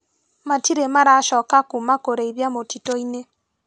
Matirĩ maracoka kuma kũrĩithia mũtitũinĩ.